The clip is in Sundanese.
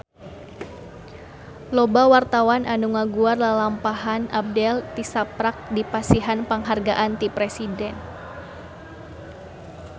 Loba wartawan anu ngaguar lalampahan Abdel tisaprak dipasihan panghargaan ti Presiden